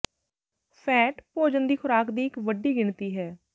fat ਭੋਜਨ ਦੀ ਖੁਰਾਕ ਦੀ ਇੱਕ ਵੱਡੀ ਗਿਣਤੀ ਹੈ